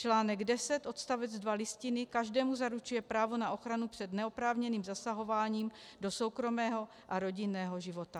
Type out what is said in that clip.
Článek 10 odst. 2 Listiny každému zaručuje právo na ochranu před neoprávněným zasahováním do soukromého a rodinného života.